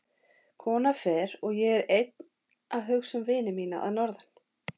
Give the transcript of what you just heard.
Konan fer og ég er einn að hugsa um vini mína að norðan.